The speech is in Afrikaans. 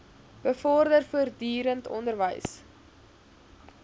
bevorder voortdurend onderwys